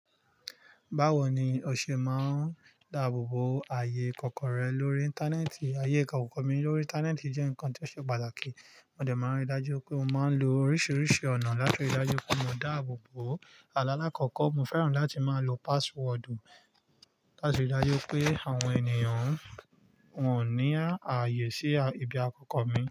Báwo ni o ṣe máa ń dáàbò bo ààyè ìkọ̀kọ̀ rẹ lórí Íńtánẹ́ẹ̀tì? Ààyè ìkọ̀kọ̀ mi lórí Íńtánẹ́ẹ̀tì jẹ́ nǹkan tó ṣe pàtàkì. Mo dẹ̀ máa ń rí i dájú pé mo máa ń lo oríṣiríṣi ọ̀nà láti rí i dájú pé mo dáàbò bo ààlà alakọkọ. Mo fẹ́ràn láti máa lo pasiwọdu láti rí i dájú pé àwọn ènìyàn wọ́n ò ní ààyè sí ibi ikọ́kọ́ mi.